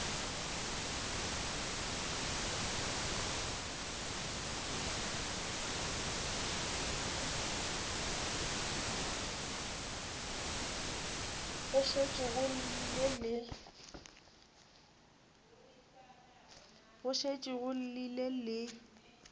go šetše go llile le